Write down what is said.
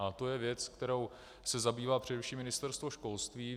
A to je věc, kterou se zabývá především Ministerstvo školství.